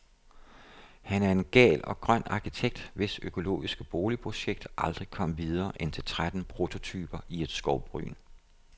Han er en gal og grøn arkitekt, hvis økologiske boligprojekt aldrig kom videre end til tretten prototyper i et skovbryn.